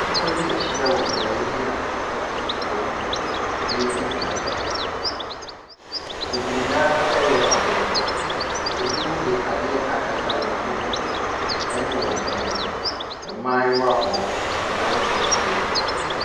Nnipa bi ahyia wɔ beaeɛ bi a wɔn edi dwa. Bebree no ara yɛ Aabrɔfo. Ebinom de adeɛ akata wɔn hwene ne wɔn anim. Mmaayewa wɔ hɔ. Mmranteɛ nso wɔ hɔ.